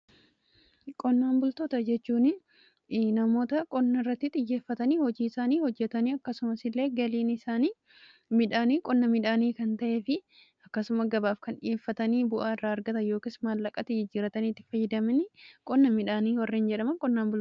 qonnaan bultoota jechuun namoota qonna irratti xiyyeeffatanii hojii isaanii hojjatanii akkasumas illee galiin isaan midhaan qonna midhaanii kan ta'ee fi akkasuma gabaaf kan dhiyeeffatanii bu'aa irraa argatan yookiin maallaqatti jijjiiranii fayyadaman qonna midhaanii kan jedhamudha.